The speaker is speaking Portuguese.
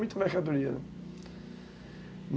muita mercadoria, né?